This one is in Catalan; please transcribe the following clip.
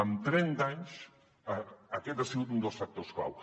en trenta anys aquest ha sigut un dels factors clau